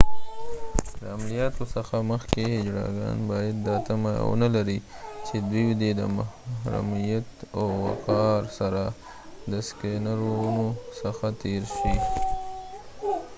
د عملیاتو څخه مخکې هيجړاګان باید دا تمه ونه لري چې دوی دې د محرمیت او وقار سره د سکینرونو څخه تير شي